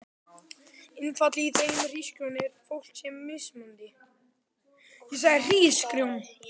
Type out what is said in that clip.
Innifalið í þeirri hugsjón er að fólk sé mismunandi.